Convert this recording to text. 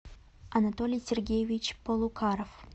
анатолий сергеевич полукаров